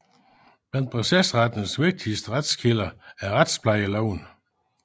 Blandt procesrettens vigtigste retskilder er retsplejeloven